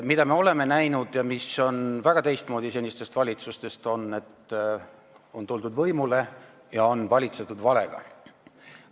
Mida me oleme näinud ja mis on väga teistmoodi kui senistel valitsustel, on see, et on tuldud võimule ja on valitsetud valega.